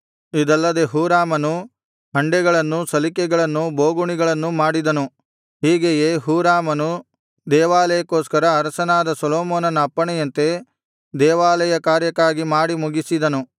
ಇದಲ್ಲದೆ ಹೂರಾಮನು ಹಂಡೆಗಳನ್ನೂ ಸಲಿಕೆಗಳನ್ನೂ ಬೋಗುಣಿಗಳನ್ನೂ ಮಾಡಿದನು ಹೀಗೆಯೇ ಹೂರಾಮನು ದೇವಾಲಯಕ್ಕೋಸ್ಕರ ಅರಸನಾದ ಸೊಲೊಮೋನನ ಅಪ್ಪಣೆಯಂತೆ ದೇವಾಲಯ ಕಾರ್ಯಕ್ಕಾಗಿ ಮಾಡಿ ಮುಗಿಸಿದನು